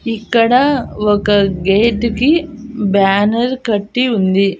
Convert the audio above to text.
ఇక్కడ ఒక గేటు కి బ్యానర్ కట్టి ఉంది.